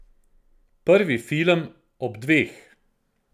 Prvi film ob dveh.